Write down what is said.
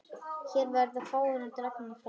Hér verða fáar dregnar fram.